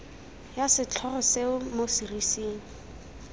ya setlhogo seo mo serising